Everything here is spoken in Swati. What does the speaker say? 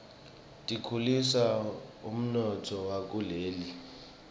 tikhulisa umnotfo wakuleli